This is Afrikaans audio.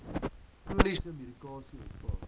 chroniese medikasie ontvang